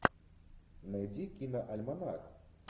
найди киноальманах